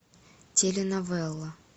теленовелла